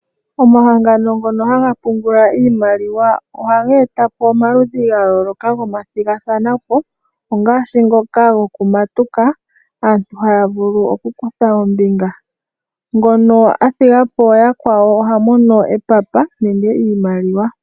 Omahangano ngono haga pungula iimaliwa ohaga eta po omaludhi ga yooloka gomathigathana po ngaashi ngoka gokumatuka moka aantu haya vulu okukutha ombinga. Ngono a thiga po yakwawo oha mono epapa nenge iimaliwa.